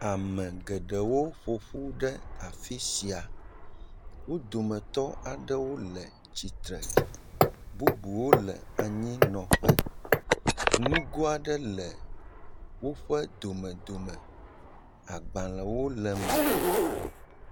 ame geɖewo ƒoƒu ɖe afisia amaɖewo le atsitsre bubuwo le anyinɔƒe nugoaɖe le wóƒe domedome agbalewo le me